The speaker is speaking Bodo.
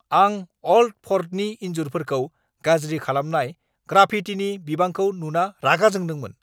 आं अल्ड फर्टनि इन्जुरफोरखौ गाज्रि खालामनाय ग्राफिटिनि बिबांखौ नुना रागा जोंदोंमोन।